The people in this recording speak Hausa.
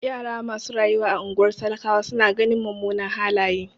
Yara masu rayuwa a ungwar talakawa su na ganin mumunan halaye.